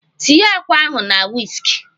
Tie àkwá ahụ na wisk!